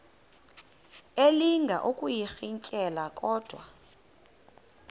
elinga ukuyirintyela kodwa